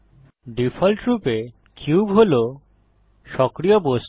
ডিফল্টরূপে কিউব হল সক্রিয় বস্তু